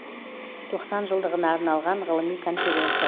тоқсан жылдығына арналған ғылыми конференция